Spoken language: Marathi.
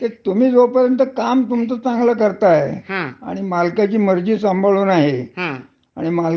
म्हणजे तस आपण बगायला गेल तर हॉटेल इंडस्ट्री हे म्हणून सारखी नोकरी सुरक्षित आहे अस नाही.